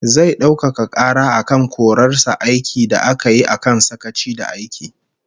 Zai daukaka kara akan korar sa aiki da aka yi akan sakaci da aiki